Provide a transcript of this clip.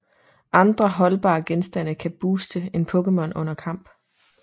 Andre holdbare genstande kan booste en Pokémon under kamp